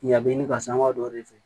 Yan bɛ ɲini ka sangama dɔ de kɛ